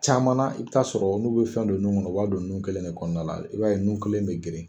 Caman na i bɛ t'a sɔrɔ n'u bɛ fɛn don nun kɔnɔ o b'a don nun kelen de kɔnɔna la i b'a ye nun kelen bɛ geren.